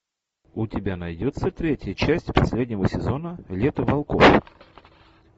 у тебя найдется третья часть последнего сезона лето волков